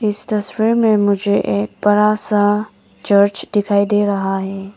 इस तस्वीर में मुझे एक बड़ा सा चर्च दिखाई दे रहा है।